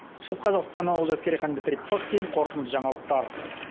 шығыс қазақстан олжас керейхан дмитрий пыхтин қорытынды жаңалықтар